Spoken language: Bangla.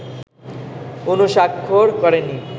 অনুস্বাক্ষর করেনি